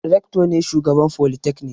Rector ne shugaban folytekni.